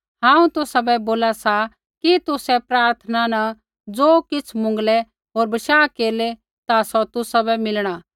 हांऊँ तुसाबै बोला कि तुसै प्रार्थना न ज़ो किछ़ मुँगलै होर भरोसा केरलै ता सौ तुसाबै मिलणा